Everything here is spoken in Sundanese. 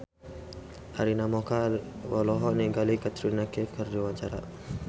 Arina Mocca olohok ningali Katrina Kaif keur diwawancara